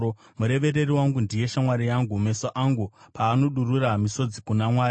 Murevereri wangu ndiye shamwari yangu, meso angu paanodurura misodzi kuna Mwari;